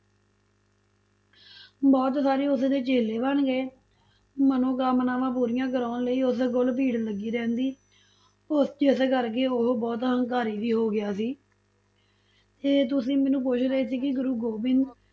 ਬਹੁਤ ਸਾਰੇ ਉਸਦੇ ਚੇਲੇ ਬਣ ਗਏ, ਮਨੋਕਾਮਨਾਵਾਂ ਪੂਰੀਆਂ ਕਰਾਉਣ ਲਈ ਉਸ ਕੋਲ ਭੀੜ ਲੱਗੀ ਰਹਿੰਦੀ, ਉਹ ਜਿਸ ਕਰਕੇ ਉਹ ਬਹੁਤ ਹੰਕਾਰੀ ਵੀ ਹੋ ਗਿਆ ਸੀ ਤੇ ਤੁਸੀਂ ਮੈਨੂੰ ਪੁੱਛ ਰਹੇ ਸੀ ਕਿ ਗੁਰੂ ਗੋਬਿੰਦ